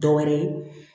Dɔ wɛrɛ ye